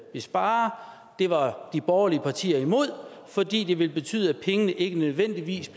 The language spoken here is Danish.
spare det var de borgerlige partier imod fordi det ville betyde at pengene ikke nødvendigvis